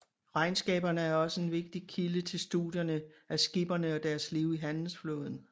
Regnskaberne er også en vigtig kilde til studierne af skipperne og deres liv i handelsflåden